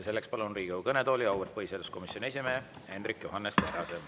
Selleks palun Riigikogu kõnetooli auväärt põhiseaduskomisjoni esimehe Hendrik Johannes Terrase.